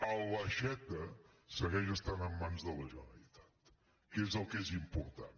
l’aixeta segueix estan en mans de la generalitat que és el que és important